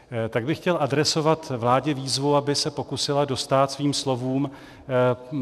Tak bych chtěl adresovat vládě výzvu, aby se pokusila dostát svým slovům.